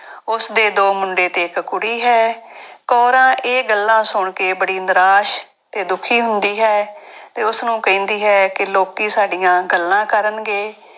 ਉਸਦੇ ਦੋ ਮੁੰਡੇ ਤੇ ਇੱਕ ਕੁੜੀ ਹੈ ਕੋਰਾਂ ਇਹ ਗੱਲਾਂ ਸੁਣ ਕੇ ਬੜੀ ਨਰਾਸ਼ ਤੇ ਦੁੱਖੀ ਹੁੰਦੀ ਹੈ ਤੇ ਉਸਨੂੰ ਕਹਿੰਦੀ ਹੈ ਕਿ ਲੋਕੀ ਸਾਡੀਆਂ ਗੱਲਾਂ ਕਰਨਗੇ।